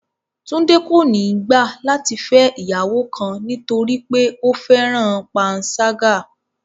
Túndé kò ní gbà láti fẹ̀ iyàwọ kan nítorí pé ófẹran pànsàgà